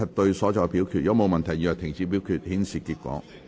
如果沒有問題，現在停止表決，顯示結果。